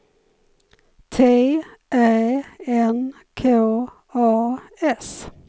T Ä N K A S